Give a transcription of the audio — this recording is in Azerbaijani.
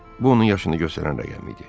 Bu onun yaşını göstərən rəqəm idi.